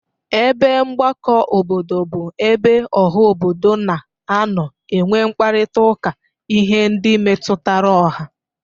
Ebe mgbakọ obodo bụ ebe ọha obodo na-anọ enwe mkparịtaụka ihe ndị metutara ọha.